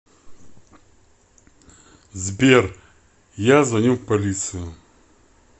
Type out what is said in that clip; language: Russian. сбер я звоню в полицию